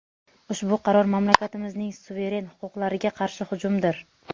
Ushbu qaror mamlakatimizning suveren huquqlariga qarshi hujumdir.